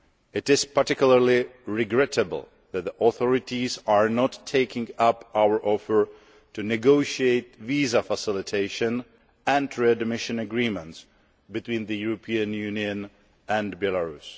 It is particularly regrettable that the authorities are not taking up our offer to negotiate visa facilitation and readmission agreements between the European Union and Belarus.